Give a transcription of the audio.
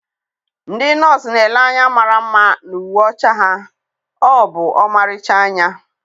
ndị nọọsụ na-ele anya mara mma na uwe ọcha ha, ọ bụ ọmarịcha anya.